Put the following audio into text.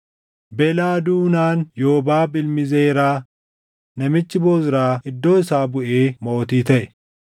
Belaa duunaan Yoobaab ilmi Zeraa namichi Bozraa iddoo isaa buʼee mootii taʼe.